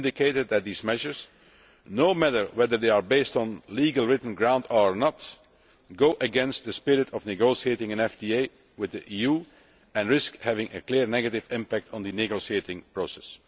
We indicated that these measures, no matter whether they are based on legal written grounds or not, go against the spirit of negotiating an FTA with the EU and risk having a clear negative impact on the negotiating process.